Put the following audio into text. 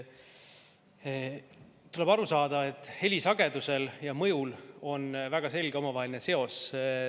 Tuleb aru saada, et heli sagedusel ja mõjul on väga selge omavaheline seos.